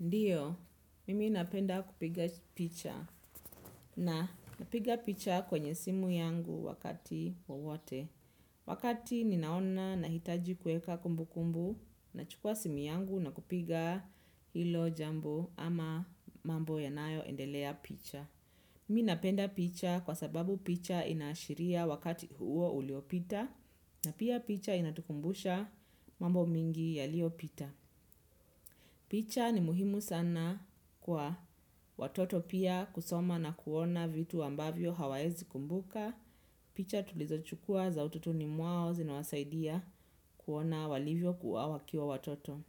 Ndiyo, mimi napenda kupiga picha na napiga picha kwenye simu yangu wakati wowote. Wakati ninaona nahitaji kuweka kumbu kumbu nachukua simu yangu na kupiga hilo jambo ama mambo yanayoendelea picha. Mimi napenda picha kwa sababu picha inaashiria wakati huo uliopita na pia picha inatukumbusha mambo mingi yaliopita. Picha ni muhimu sana kwa watoto pia kusoma na kuona vitu ambavyo hawawezikumbuka. Picha tulizo chukua za utotoni mwao zinawasaidia kuona walivyo kuwa wakiwa watoto.